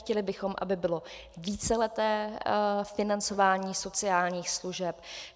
Chtěli bychom, aby bylo víceleté financování sociálních služeb.